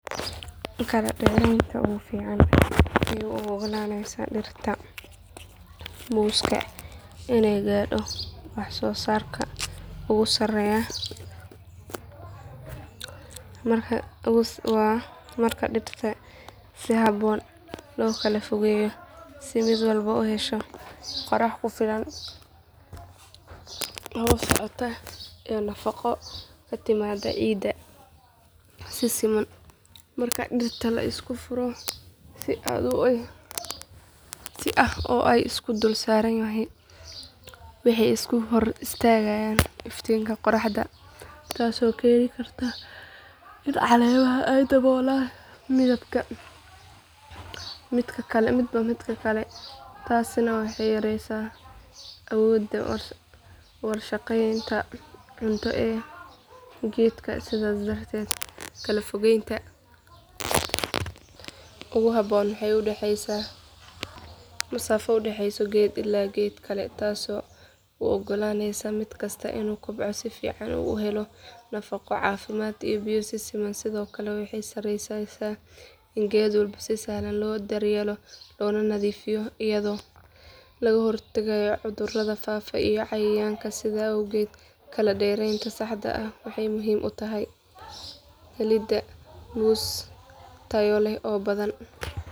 Kala dheeraynta ugu fiican ee u oggolaanaysa dhirta muuska inay gaadho wax soo saarka ugu sarreeya waa marka dhirta si habboon loo kala fogeeyo si mid walba u hesho qorrax ku filan hawo socota iyo nafaqo ka timaadda ciidda si siman marka dhirta la isku furo si aad ah oo ay is dul saaraan waxay isku hor istaagtaa iftiinka qorraxda taasoo keeni karta in caleemaha ay daboolaan midba midka kale taasina waxay yareysaa awoodda warshadeynta cunto ee geedka sidaas darteed kala fogeynta ugu habboon waxay u dhaxaysaa masaafo u dhaxaysa geed illaa geed kale taasoo u oggolaanaysa mid kasta inuu kobco si fiican oo uu helo nafaqo caafimaad iyo biyo si siman sidoo kale waxay sahleysaa in geed walba si sahlan loo daryeelo loona nadiifiyo iyadoo laga hortagayo cudurrada faafa iyo cayayaanka sidaas awgeed kala dheeraynta saxda ah waxay muhiim u tahay helidda muus tayo leh oo badan.